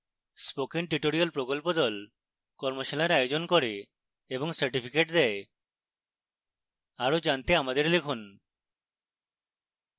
spoken tutorial প্রকল্প the কর্মশালার আয়োজন করে এবং certificates দেয় আরো জানতে আমাদের লিখুন